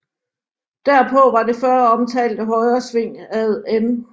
Derpå var det føromtalte højresving ad N